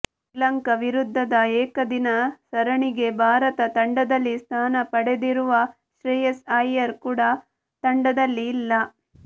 ಶ್ರೀಲಂಕಾ ವಿರುದ್ಧದ ಏಕದಿನ ಸರಣಿಗೆ ಭಾರತ ತಂಡದಲ್ಲಿ ಸ್ಥಾನ ಪಡೆದಿರುವ ಶ್ರೇಯಸ್ ಅಯ್ಯರ್ ಕೂಡ ತಂಡದಲ್ಲಿ ಇಲ್ಲ